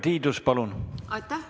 Aitäh!